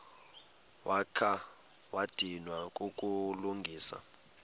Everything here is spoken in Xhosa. wakha wadinwa kukulungisa